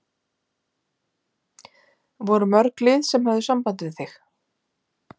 Voru mörg lið sem höfðu samband við þig?